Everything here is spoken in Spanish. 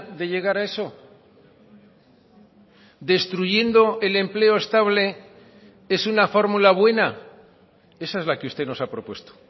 de llegar a eso destruyendo el empleo estable es una fórmula buena esa es la que usted nos ha propuesto